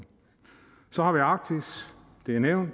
så arktis det er nævnt